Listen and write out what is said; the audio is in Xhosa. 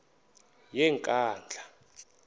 yenkandla